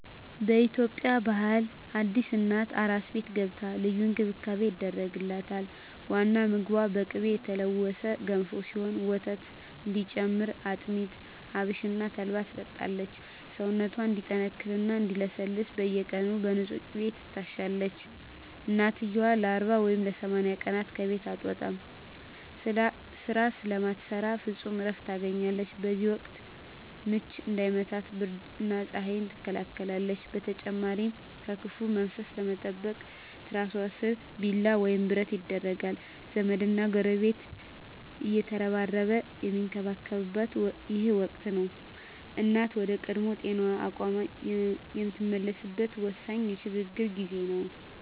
በኢትዮጵያ ባህል አዲስ እናት "አራስ ቤት" ገብታ ልዩ እንክብካቤ ይደረግላታል። ዋናው ምግቧ በቅቤ የተለወሰ ገንፎ ሲሆን፣ ወተት እንዲጨምር አጥሚት፣ አብሽና ተልባን ትጠጣለች። ሰውነቷ እንዲጠነክርና እንዲለሰልስ በየቀኑ በንፁህ ቅቤ ትታሻለች። እናትየው ለ40 ወይም ለ80 ቀናት ከቤት አትወጣም፤ ስራ ስለማትሰራ ፍጹም እረፍት ታገኛለች። በዚህ ወቅት "ምች" እንዳይመታት ብርድና ፀሐይ ትከላከላለች። በተጨማሪም ከክፉ መንፈስ ለመጠበቅ ትራሷ ስር ቢላዋ ወይም ብረት ይደረጋል። ዘመድና ጎረቤት እየተረባረበ የሚንከባከባት ይህ ወቅት፣ እናት ወደ ቀድሞ ጤናዋና አቅሟ የምትመለስበት ወሳኝ የሽግግር ጊዜ ነው።